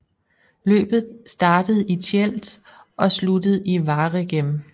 Løbet startede i Tielt og sluttede i Waregem